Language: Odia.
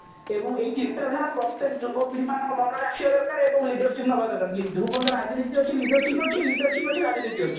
ଏବଂ ଏଇ ଚିନ୍ତାଧାରା ପ୍ରତ୍ଯେକ ଯୁବପିଢି ମାନଙ୍କ ମନରେ ଆସିବା ଦରକାର ଏବଂ leadership ନବା ଦରକାର ଯୋଉ ପର୍ଯ୍ୟନ୍ତ ରାଜନୀତି ଅଛି leadership ଅଛି leadership ଅଛି ରାଜନୀତି ଅଛି